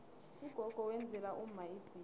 ugogo wenzela umma idzila